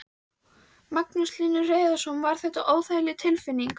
Magnús Hlynur Hreiðarsson: Var þetta óþægileg tilfinning?